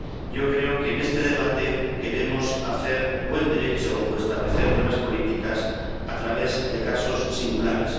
Yo creo que, en este debate, queremos hacer buen Derecho o establecer buenas políticas a través de casos singulares.